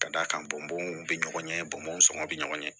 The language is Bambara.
Ka d'a kan bɔnbɔnw bɛ ɲɔgɔn ɲɛ bɔnbɔn sɔngɔ bɛ ɲɔgɔn ɲɛ